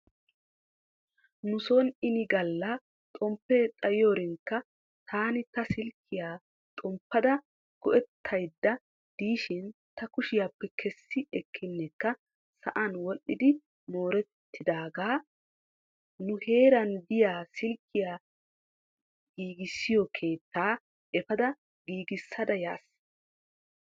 Nuson ini galla xomppee xayiyoorinkka taani ta silkkiyaa xomppada go'ettaydda diishin ta kushiyaappe kessi ekkinekka sa'an wodhdhidi mooretidaagaa nuheeran diyaa silkkiyaa giisiyoo keettaa efaada giigissada yas.